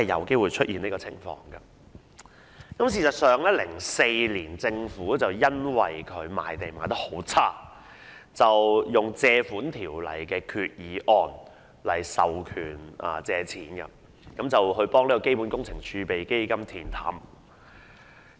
事實上，政府在2004年因政府賣地情況欠佳而根據《條例》動議決議案授權借款，以填補基本工程儲備基金的赤字。